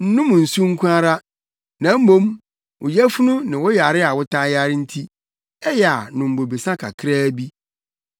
Nnom nsu nko ara, na mmom wo yafunu ne wo yare a wotaa yare nti, ɛyɛ a nom bobesa kakraa bi.